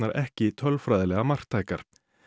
ekki tölfræðilega marktækar